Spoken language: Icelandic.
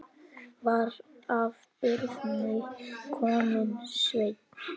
Var af Birni kominn Sveinn.